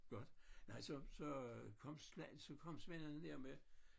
Godt nej så så kom så kom svendene der med